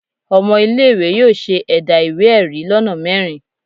Ọmọ ile-iwe yóò ṣe ẹda iwe-ẹri lona mẹrin.